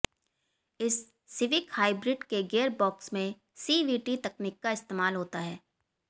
इस Civic hybrid के gear box में सीवीटी तकनीक का इस्तेमाल होता है